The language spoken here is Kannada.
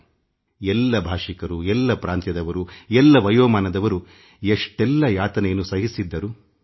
ಎಲ್ಲ ರಾಜ್ಯದವರು ಎಲ್ಲ ಭಾಷಿಕರು ಎಲ್ಲ ಪ್ರಾಂತ್ಯದವರು ಎಲ್ಲ ವಯೋಮಾನದವರು ಎಷ್ಟೆಲ್ಲ ಯಾತನೆಯನ್ನು ಅನುಭವಿಸಿದ್ದರು